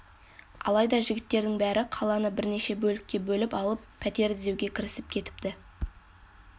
алайда жігіттердің бәрі қаланы бірнеше бөлікке бөліп алып пәтер іздеуге кірісіп кетіпті